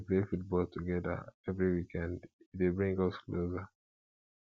we dey play football togeda every weekend e dey bring us closer